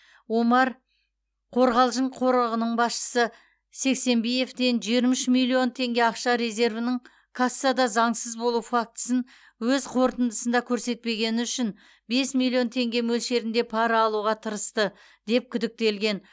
омар қорғалжың қорығының басшысы сексенбиевтен жиырма үш миллион теңге ақша резервінің кассада заңсыз болу фактісін өз қорытындысында көрсетпегені үшін бес миллион теңге мөлшерінде пара алуға тырысты деп күдіктелген